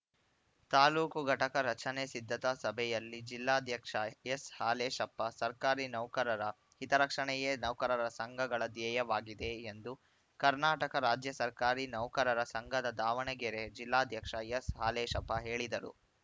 ತಾಲೂಕು ಘಟಕ ರಚನೆ ಸಿದ್ಧತಾ ಸಭೆಯಲ್ಲಿ ಜಿಲ್ಲಾಧ್ಯಕ್ಷ ಎಸ್‌ಹಾಲೇಶಪ್ಪ ಸರ್ಕಾರಿ ನೌಕರರ ಹಿತರಕ್ಷಣೆಯೇ ನೌಕರರ ಸಂಘಗಳ ಧ್ಯೇಯವಾಗಿದೆ ಎಂದು ಕರ್ನಾಟಕ ರಾಜ್ಯ ಸರ್ಕಾರಿ ನೌಕರರ ಸಂಘದ ದಾವಣಗೆರೆ ಜಿಲ್ಲಾಧ್ಯಕ್ಷ ಎಸ್‌ಹಾಲೇಶಪ್ಪ ಹೇಳಿದರು